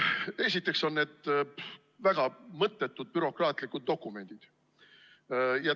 Esiteks on need väga mõttetud bürokraatlikud dokumendid.